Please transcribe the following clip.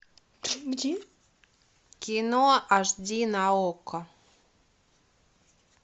кино аш ди на окко